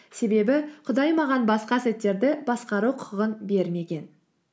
себебі құдай маған басқа сәттерді басқару құқығын бермеген